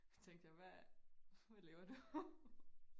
tænkte jeg hvad hvad laver du